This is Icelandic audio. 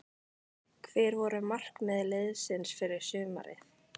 Hver voru markmið liðsins fyrir sumarið?